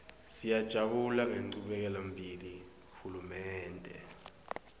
siyajabula ngenchubekelembili hulumende